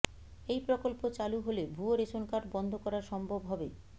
এই প্রকল্প চালু হলে ভুয়ো রেশন কার্ড বন্ধ করা সম্ভব হবে